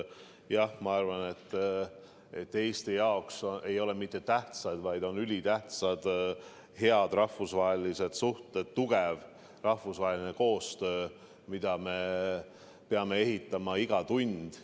Jah, ma arvan, et Eesti jaoks ei ole mitte ainult tähtsad, vaid on ülitähtsad head rahvusvahelised suhted, tugev rahvusvaheline koostöö, mida me peame ehitama iga tund.